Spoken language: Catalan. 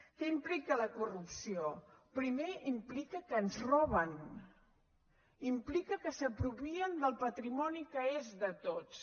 què implica la corrupció primer implica que ens roben implica que s’apropien del patrimoni que és de tots